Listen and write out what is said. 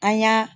An y'a